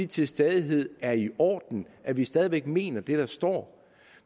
til stadighed er i orden at vi stadig væk mener det der står